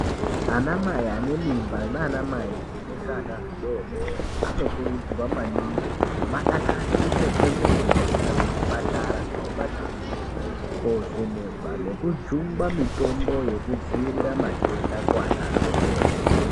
Anamai anemimba naanamai anezvana zvidoodori anokurudzirwa maningi kuti vadakarire kwemene kuenda kuzvipatara nekumakirinika koovhenekwa nekujungwa mitombo yekudziirira matenda kuana adoodiri.